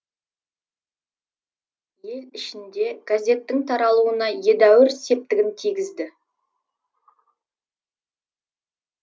ел ішінде газеттің таралуына едәуір септігін тигізді